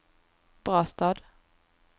Brastad